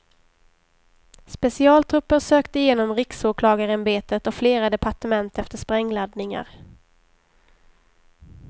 Specialtrupper sökte genom riksåklagarämbetet och flera departement efter sprängladdningar.